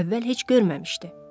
Əvvəl heç görməmişdi.